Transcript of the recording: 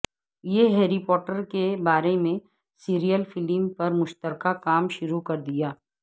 یہ Harry Potter کے بارے میں سیریل فلم پر مشترکہ کام شروع کر دیا